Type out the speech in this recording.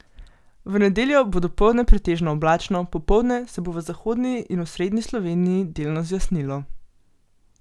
V nedeljo bo dopoldne pretežno oblačno, popoldne se bo v zahodni in osrednji Sloveniji delno zjasnilo.